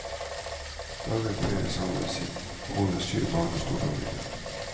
Dagen feires sammen med kone, syv barn og storfamilien.